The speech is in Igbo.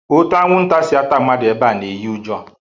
Ote anwụnta si ata mmadụ ebea na-eyi ụjọ